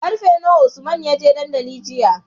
Karfe nawa usman yaje dandali jiya?